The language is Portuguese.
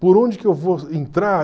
Por onde que eu vou entrar?